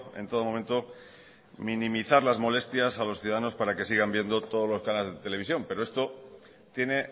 en todo momento minimizar las molestias a los ciudadanos para que sigan viendo todos los canales de televisión pero esto tiene